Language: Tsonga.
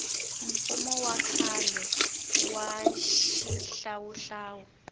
mfumo wa khale wa xihlawuhlawu